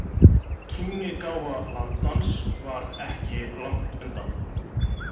Kímnigáfa landans var ekki langt undan.